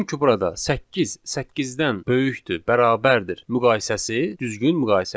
Çünki burada səkkiz səkkizdən böyükdür, bərabərdir müqayisəsi düzgün müqayisədir.